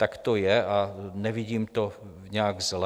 Tak to je a nevidím to nijak zle.